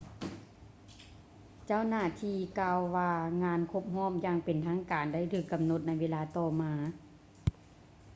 ເຈົ້າຫນ້າທີ່ກ່າວວ່າງານຄົບຮອບຢ່າງເປັນທາງການໄດ້ຖືກກຳນົດໃນເວລາຕໍ່ມາ